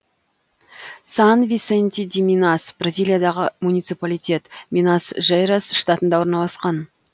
сан висенти ди минас бразилиядағы муниципалитет минас жерайс штатында орналасқан